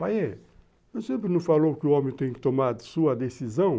Pai, você não falou que o homem tem que tomar a sua decisão?